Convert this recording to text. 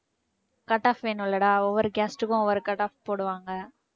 cut off வேணும்ல்லடா ஒவ்வொரு caste க்கும் ஒவ்வொரு cut off போடுவாங்க